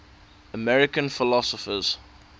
american philosophers